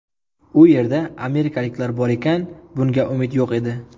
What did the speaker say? U yerda amerikaliklar bor ekan bunga umid yo‘q edi.